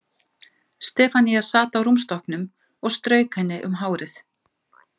Stefanía sat á rúmstokknum og strauk henni um hárið.